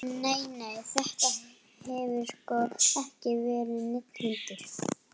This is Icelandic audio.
Nei, nei, þetta hefur sko ekki verið neinn hundur.